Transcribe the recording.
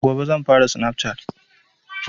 Gobe zan fara snaf cat